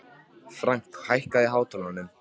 Frank, hækkaðu í hátalaranum.